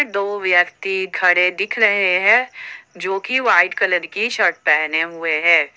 दो व्यक्ति खड़े दिख रहे हैं जो कि वाइट कलर की शर्ट पहने हुए हैं।